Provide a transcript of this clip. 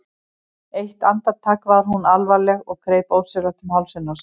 Eitt andartak var hún alvarleg og greip ósjálfrátt um hálsinn á sér.